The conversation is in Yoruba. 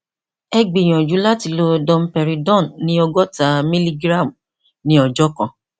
ẹ gbìyànjú láti lo domperidone ní ògọta mílígíráàmù ní ọjọ kan